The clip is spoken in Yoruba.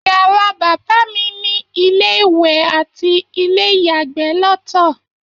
Yàrá bàbá mí ni ilé-ìwẹ̀ ati ilé-ìyàgbẹ lọtọ